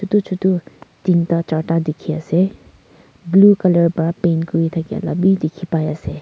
etu chotur tinta charta dikhi ase blue colour pra paint kori thakia lah bhi dikhi pai ase.